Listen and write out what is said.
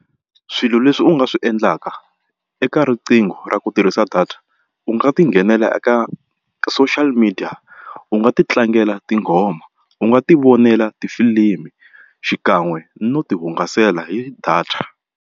Swilo leswi u nga swi endlaka eka riqingho ra ku tirhisa data u nga ti nghenela eka social media u nga ti tlangela tinghoma u nga ti vonela tifilimi xikan'we no ti hungasela hi data.